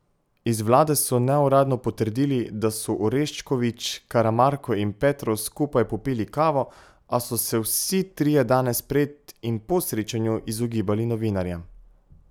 Iz vlade so neuradno potrdili, da so Orešković, Karamarko in Petrov skupaj popili kavo, a so se vsi trije danes pred in po srečanju izogibali novinarjem.